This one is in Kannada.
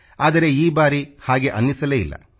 ಆದರೆ ಈ ಬಾರಿ ಹಾಗೆ ಅನ್ನಿಸಲೇ ಇಲ್ಲ